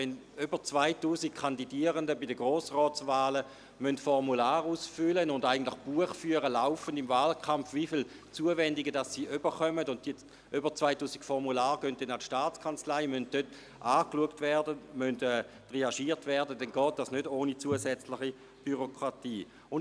Wenn über 2000 Kandidierende bei den Grossratswahlen Formulare ausfüllen und im Wahlkampf laufend darüber Buch führen müssen, wie viele Zuwendungen sie erhalten, und über 2000 Formulare an die Staatskanzlei geschickt und von dieser angeschaut und triagiert werden müssen, dann ist dies nicht ohne zusätzliche Bürokratie möglich.